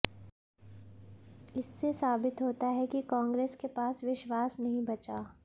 इससे साबित होता है कि कांग्रेस के पास विश्वास नहीं बचा